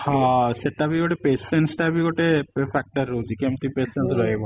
ହଁ ସେଟା ବି ଗୋଟେ patience ଟା ବି ଗୋଟେ factor ରହୁଛି କେମିତି patience ରହିବ